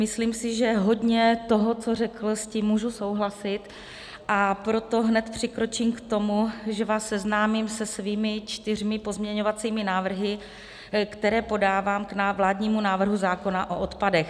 Myslím si, že hodně toho, co řekl, s tím můžu souhlasit, a proto hned přikročím k tomu, že vás seznámím se svými čtyřmi pozměňovacími návrhy, které podávám k vládnímu návrhu zákona o odpadech.